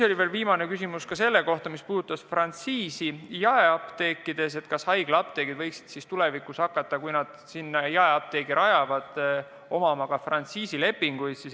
Viimane küsimus puudutas frantsiisi jaeapteekides: kas haiglaapteegid võiksid tulevikus, kui nad jaeapteegi rajavad, hakata sõlmima ka frantsiisilepinguid.